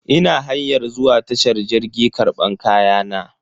Ina hanyar zuwa tashar jirgi karban kayana.